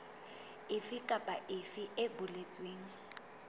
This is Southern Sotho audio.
efe kapa efe e boletsweng